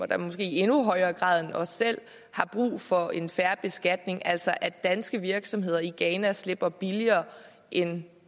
der måske i endnu højere grad end os har brug for en fair beskatning altså at danske virksomheder i ghana slipper billigere end